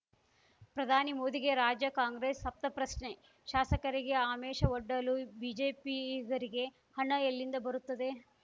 ಪ್ರಧಾನಿ ಮೋದಿಗೆ ರಾಜ್ಯ ಕಾಂಗ್ರೆಸ್‌ ಸಪ್ತ ಪ್ರಶ್ನೆ ಶಾಸಕರಿಗೆ ಆಮಿಷವೊಡ್ಡಲು ಬಿಜೆಪಿಗರಿಗೆ ಹಣ ಎಲ್ಲಿಂದ ಬರುತ್ತದೆ